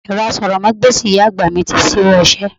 Ẹ̀rọ asọ̀rọ̀mágbèsì ìyá àgbà mi ti ṣíwọ́ iṣẹ́.